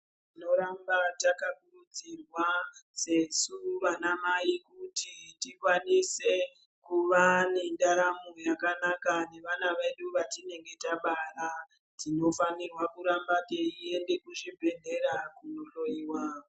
Tinoramba takakurudzirwa sesu vana mai kuti tikwanise kuva nendaramo yakanaka nevana vedu vatinenge tabara tinofanira kuramba teienda kuzvibhedhlera kunohloyiwa.